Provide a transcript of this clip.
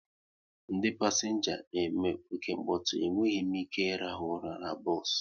Ndị pasenga na eme oke nkpotu, e nweghị m ike irahu ụra n'bos